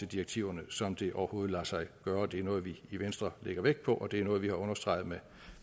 direktiverne som det overhovedet lader sig gøre det er noget vi i venstre lægger vægt på og det er noget vi har understreget ved